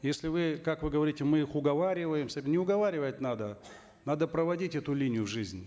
если вы как вы говорите мы их уговариваем не уговаривать надо надо проводить эту линию в жизнь